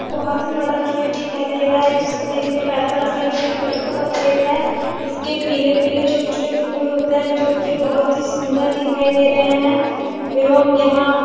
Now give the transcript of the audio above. बहुत बड़ा खेत दिखाई दे रहा है जिसको देख़ने पे ऐसा लग रहा है कि सरसों का खेत है इसके पीले-पीले छोटे-छोटे फूल होते हैं जो की बहुत सुन्दर दिखाई दे रहे है एवं यहाँ--